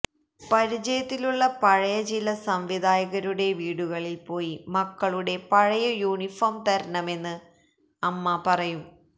പരിചയത്തിലുള്ള പഴയ ചില സംവിധായകരുടെ വീടുകളില് പോയി മക്കളുടെ പഴയ യൂണിഫോം തരണമെന്ന് അമ്മ പറയും